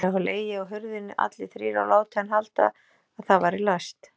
Þeir hafa legið á hurðinni allir þrír og látið hann halda að það væri læst!